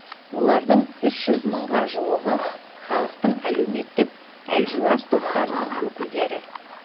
олардың үш жүз мыңға жуығы халықтың әлеуметтік әлжуаз топтарының өкілдері